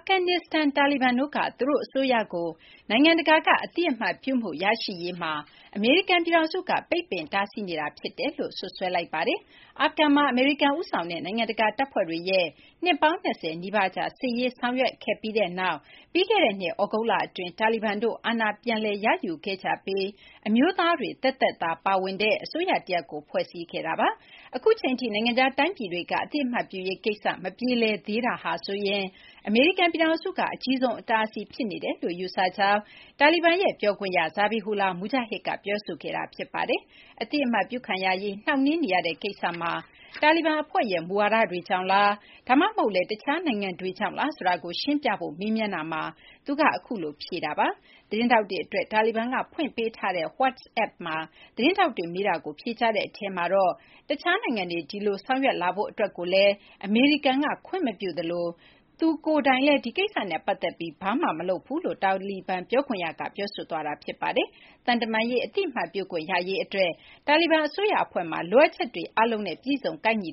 ဂန်နစ္စတန် တာလီဘန်တို့က သူတို့ အစိုးရကို နိုင်ငံတကာက အသိအမှတ်ပြုမှု ရရှိရေးမှာ အမေရိကန် ပြည်ထောင်စုက ပိတ်ပင် တားဆီးနေတာ ဖြစ်တယ်လို့ စွပ်စွဲလိုက်ပါတယ်။ အာဖဂန်မှာ အမေရိကန် ဦးဆောင်တဲ့ နိုင်ငံတကာ တပ်ဖွဲ့တွေရဲ့ နှစ်ပေါင်း ၂၀ နီးပါးကြာ စစ်ရေးဆောင်ရွက်ခဲ့ကြပြီးနောက် ပြီးခဲ့တဲ့နှစ် သြဂုတ်လအတွင်း တာလီဘန်တို့က အာဏာ ပြန်လည် ရယူခဲ့ကြပြီး အမျိုးသားတွေ သက်သက်သာ ပါဝင်တဲ့ အစိုးရ တရပ်ကို ဖွဲ့စည်းခဲ့တာပါ။ အခုအချိန်ထိ နိုင်ငံခြား တိုင်းပြည်တွေက အသိအမှတ်ပြုရေး ကိစ္စ မပြေလည်သေးတဲ့ ကိစ္စမှာ ဆိုရင် အမေရိကန် ပြည်ထောင်စုက အကြီးဆုံး အတားအဆီး ဖြစ်နေတယ်လို့ ယူဆကြောင်း တာလီဘန်ရဲ့ ပြောခွင့်ရ Zabihullah Mujahid က ပြောဆိုခဲ့တာ ဖြစ်ပါတယ်။ အသိအမှတ်ပြုခံရရေး နှောင့်နှေးနေရတဲ့ ကိစ္စမှာ တာလီဘန် အဖွဲ့ရဲ့ မူဝါဒတွေကြောင့်လား ဒါမှမဟုတ်လည်း တခြား နိုင်ငံတွေကြောင့်လား ဆိုတာကို ရှင်းပြဖို့ မေးမြန်းတာမှာ သူက အခုလို ဖြေခဲ့တာ ဖြစ်ပါတယ်။ သတင်းထောက်တွေ အတွက် တာလီဘန်က ဖွင့်ပေးထားတဲ့ WhatsApp မှာ သတင်းထောက်တွေ မေးတာကို ဖြေကြားတဲ့ အထဲမှာတော့ တခြားနိုင်ငံတွေ ဒီလို ဆောင်ရွက်လာဖို့ အတွက်ကိုလည်း အမေရိကန်က ခွင့်မပြုသလို သူကိုယ်တိုင်ကလည်း ဒီကိစ္စနဲ့ ပတ်သက်ပြီး ဘာမှ မလုပ်ဘူးလို့ တာလီဘန် ပြောခွင့်ရက ပြောဆိုခဲ့တာ ဖြစ်ပါတယ်။ သံတမန်ရေး အသိအမှတ်ပြုခွင့် ရရေး အတွက် တာလီဘန် အစိုးရ အဖွဲ့မှာ လိုအပ်ချက်တွေ အားလုံးနဲ့ ပြည့်စုံ ကိုက်ညီ